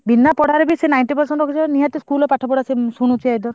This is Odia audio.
ବିନାପଢାରେ ବି ସେ ninety percent ରଖୁଛି ନିହାତି ସେ school ରେ ପାଠପଢା ଶୁଣୁଥିବ।